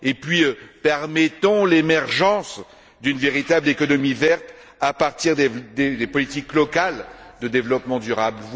Et puis permettons l'émergence d'une véritable économie verte à partir des politiques locales de développement durable.